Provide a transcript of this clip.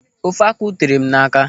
Ofe akwụ tere m n'aka.